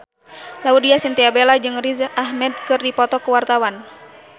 Laudya Chintya Bella jeung Riz Ahmed keur dipoto ku wartawan